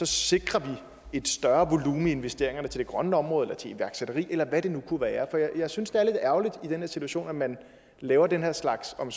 sikrer et større volumen i investeringerne til det grønne område til iværksætteri eller hvad det nu kunne være jeg synes det er lidt ærgerligt i den her situation at man laver den her slags om